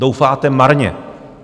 Doufáte marně!